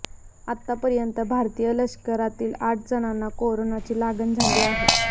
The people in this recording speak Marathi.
आतापर्यंत भारतीय लष्करातील आठ जणांना कोरोनाची लागण झाली आहे